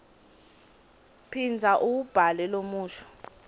phindza uwubhale lomusho